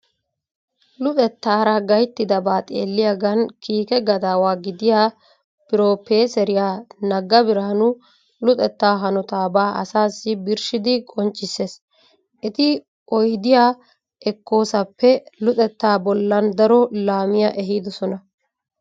Luxettaara gayttidabaa xeelliyagan kiike gadaawa gidiya proppeeseriya Nagga Birhaanu luxettaa hanotaabaa asaassi birshshidi qonccisses. Eti oydiya ekkoosappe luxettaa bollan daro laamiya ehiidosona.